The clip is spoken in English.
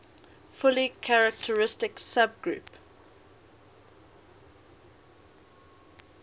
fully characteristic subgroup